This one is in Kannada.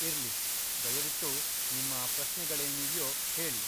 ಇರ್ಲಿ, ದಯವಿಟ್ಟು ನಿಮ್ಮ ಪ್ರಶ್ನೆಗಳೇನಿವ್ಯೋ ಹೇಳಿ.